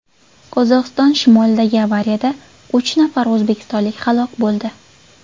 Qozog‘iston shimolidagi avariyada uch nafar o‘zbekistonlik halok bo‘ldi.